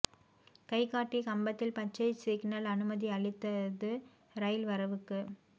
கை காட்டிக் கம்பத்தில் பச்சைக் சிக்னல் அனுமதி அளித்தது ரயில் வரவுக்கு